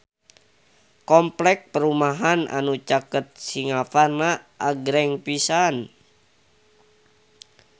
Kompleks perumahan anu caket Singaparna agreng pisan